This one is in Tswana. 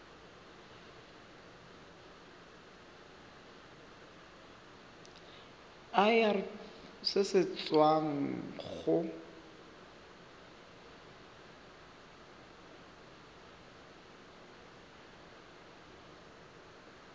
irp se se tswang go